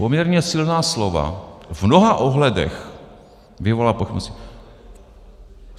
Poměrně silná slova - v mnoha ohledech vyvolává pochybnosti.